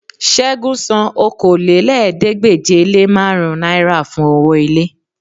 Ṣẹ́gun san Okòólélẹ́ẹ̀ẹ́dégbèje-le-márùn náírà fún owó ilé